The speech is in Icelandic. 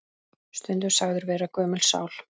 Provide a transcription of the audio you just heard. Stundum sagður vera gömul sál.